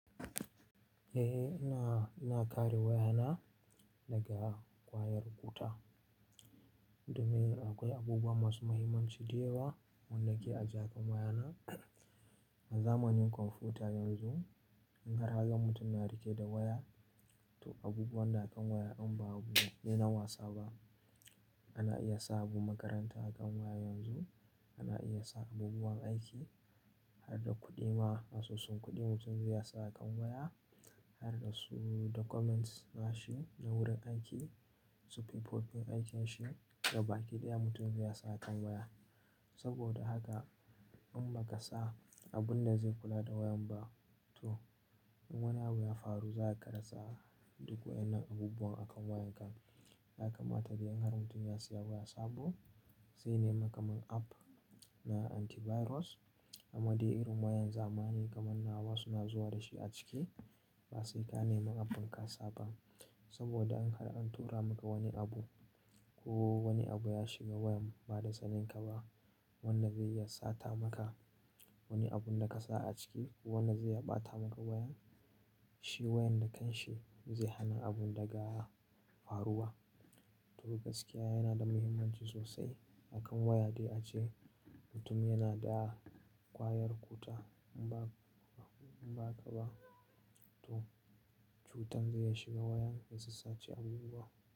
Eh, ina, ina kare wayana daga kwayar kuta, domin akwai abubuwa masu mahimmanci da yawa wanda ke a jakar wayana. A zamanin kwamfuta yanzu, in har haran mutum na rike da waya, to abubuwan na kan waya in babu dai na wasa ba. Ana iya sa abu makaranta a kan waya yanzu, ana iya sa abubuwan aiki har da kuɗi ma, asusun kuɗi mutum zai sa a kan waya, har da su documents na shi na wurin aiki, su profile aikin shi da baki ɗaya mutum zai sa a kan waya. Saboda haka in ba ka sa abun da zai kula da wayan ba, to in wani abu ya faru za ka rasa duk waɗannan abubuwan a kan wayan ka. Yaka ma dai in har mutum ya saya waya sabo, sai neman kamar app na antivirus, amma dai irin wayan zamani kamar nawa suna zuwa da shi a ciki, ba sai ka neman app din ka saba. Saboda in har an tura maka wani abu ko wani abu ya shiga wayan ba da saninka ba, wannan zai iya sata maka wani abun da ka sa a ciki ko wannan zai iya ɓata maka wayan. Shi wayan da kan shi zai hana abun daga faruwa. To gaskiya yana da muhimmanci sosai a kan waya dai ace mutum yana da kwayar kuta in ba, in ba ka ba to cutan zai iya shiga wayan ya sassace abubuwa.